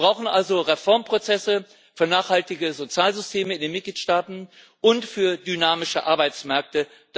Wir brauchen also Reformprozesse für nachhaltige Sozialsysteme in den Mitgliedstaaten und für dynamische Arbeitsmärkte.